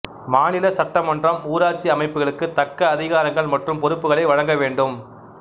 மாநில சட்டமன்றம் ஊராட்சி அமைப்புகளுக்கு தக்க அதிகாரங்கள் மற்றும் பொறுப்புகளை வழங்க வேண்டும்